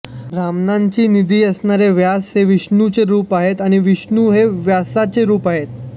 ब्रह्मज्ञानाचा निधी असणारे व्यास हे विष्णूचे रूप आहेत आणि विष्णू हा व्यासाचे रूप आहे